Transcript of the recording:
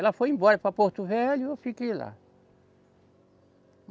Ela foi embora para Porto Velho e eu fiquei lá.